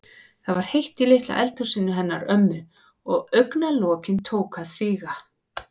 Það var heitt í litla eldhúsinu hennar ömmu og augna- lokin tóku að síga.